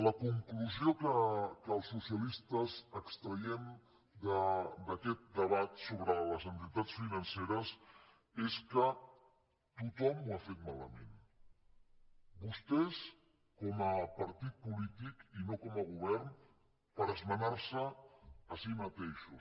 la conclusió que els socialistes extraiem d’aquest debat sobre les entitats financeres és que tothom ho ha fet malament vostès com a partit polític i no com a govern per esmenar se a si mateixos